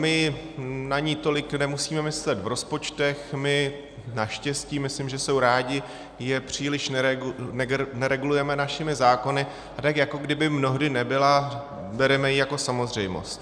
My na ni tolik nemusíme myslet v rozpočtech, my, naštěstí - myslím, že jsou rádi - je příliš neregulujeme našimi zákony, a tak jako kdyby mnohdy nebyla, bereme ji jako samozřejmost.